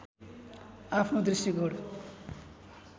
आफ्नो दृष्टिकोण